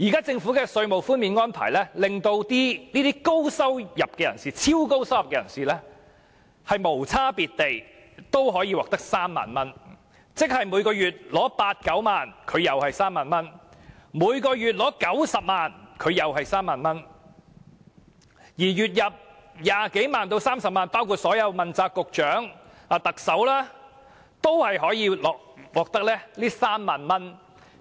政府現時的稅務寬減安排，令這些超高收入人士也無區別地獲寬減3萬元，即月入八九萬元的納稅人可獲寬減3萬元，月入90萬元的也獲寬減3萬元，連月入20萬元至30萬元的人，包括所有問責局局長和特首都獲寬減3萬元。